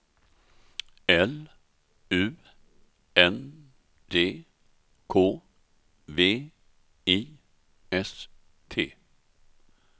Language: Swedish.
L U N D K V I S T